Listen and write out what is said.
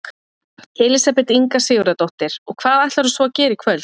Elísabet Inga Sigurðardóttir: Og hvað ætlarðu svo að gera í kvöld?